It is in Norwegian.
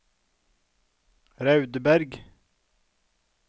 Raudeberg